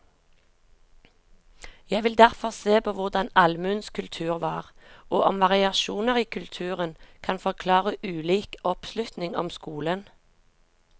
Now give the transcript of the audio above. Jeg vil derfor se på hvordan allmuens kultur var, og om variasjoner i kulturen kan forklare ulik oppslutning om skolen.